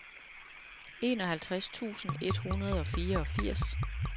enoghalvtreds tusind et hundrede og fireogfirs